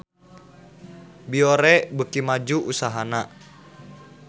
Biore beuki maju usahana